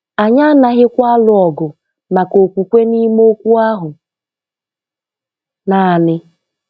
Anyị anaghịkwa alụ ọgụ maka okwukwe n’ime Okwu ahụ naanị.